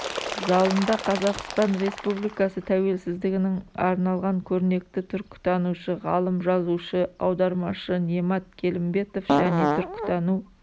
залында қазақстан республикасы тәуелсіздігінің арналған көрнекті түркітанушы ғалым жазушы аудармашы немат келімбетов және түркітану